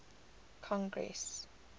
congress